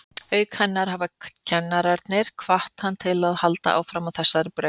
Auk hennar hafa kennararnir hvatt hann til að halda áfram á þessari braut.